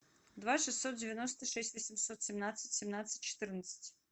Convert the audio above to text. два шестьсот девяносто шесть восемьсот семнадцать семнадцать четырнадцать